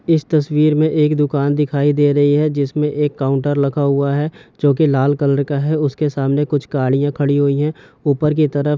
इस तस्वीर में एक दुकान दिखाई दे रही है जिसमें एक काउंटर लगा हुआ है जो की लाल कलर का है उसके सामने कुछ गाड़ियाँ खड़ी हुई है ऊपर की तरफ--